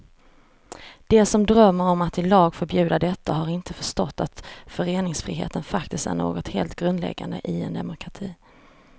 De som drömmer om att i lag förbjuda detta har inte förstått att föreningsfriheten faktiskt är något helt grundläggande i en demokrati.